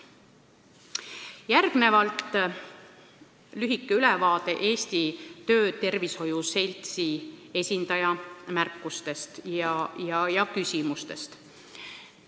Järgnevalt lühike ülevaade Eesti Töötervishoiuarstide Seltsi esindaja märkustest ja küsimustest.